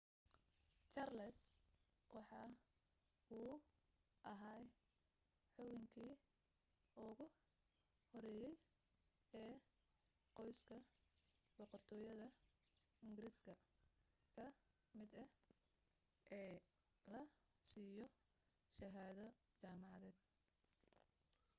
charles waxa uu ahaa xubinkii ugu horeeyay ee qoyska boqortooyada ingiriiska ka mid ah ee la siiyo shahaado jaamacadeed